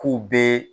K'u bɛ